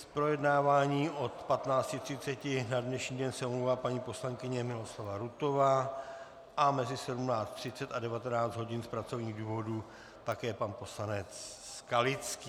Z projednávání od 15.30 na dnešní den se omlouvá paní poslankyně Miloslava Rutová a mezi 17.30 a 19 hodin z pracovních důvodů také pan poslanec Skalický.